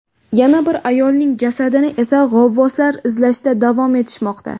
Yana bir ayolning jasadini esa g‘avvoslar izlashda davom etishmoqda.